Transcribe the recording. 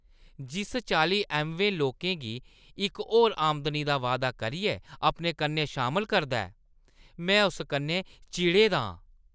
जिस चाल्ली ऐम्वेऽ लोकें गी इक होर आमदनी दा वायदा करियै अपने कन्नै शामल करदा ऐ, में उस कन्नै चिड़े दा आं।